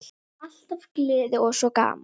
Alltaf gleði og svo gaman.